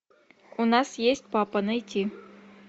у нас есть папа найти